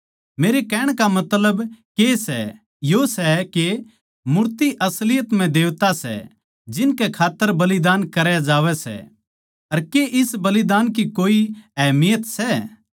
मेरे कहण का मतलब के सै यो सै के मूर्ति असलियत म्ह देवता सै जिनकै खात्तर बलिदान करे जावै सै अर के इस बलिदान की कोए अहमियत सै